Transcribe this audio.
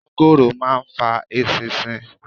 Mángóròò máa ń fa eṣinṣin.